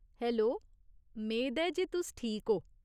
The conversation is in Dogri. हैलो, मेद ऐ जे तुस ठीक ओ।